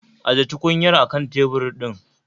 Ajiye tukunyar a kan tebur ɗin